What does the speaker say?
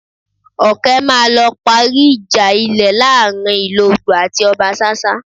Ọkẹ́ máa lọ parí ìjà ilẹ̀ láàrin Ìlogbò àti Ọbasásá